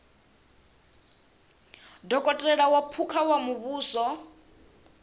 dokotela wa phukha wa muvhuso